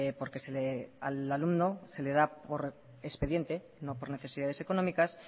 porque al alumno se le da por expediente no por necesidades económicas